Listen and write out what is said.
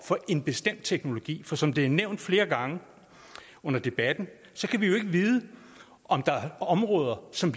for en bestemt teknologi for som det er nævnt flere gange under debatten kan vi jo ikke vide om der er områder som